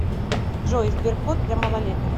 джой сберкот для малолеток